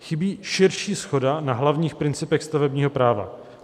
Chybí širší shoda na hlavních principech stavebního práva.